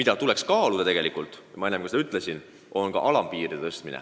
Aga nagu ma enne juba ütlesin, kaaluda tuleks ka karistuste alammäärade tõstmist.